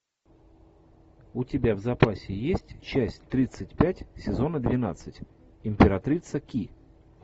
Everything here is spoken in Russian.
у тебя в запасе есть часть тридцать пять сезона двенадцать императрица ки